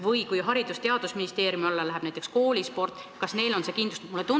Või kui Haridus- ja Teadusministeeriumi alla läheb koolisport, kas selleks on raha kindlustatud?